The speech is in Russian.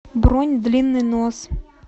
бронь длинный нос